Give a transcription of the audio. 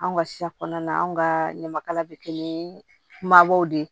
Anw ka siya kɔnɔna an ka ɲamakala bɛ kɛ ni mabɔw de ye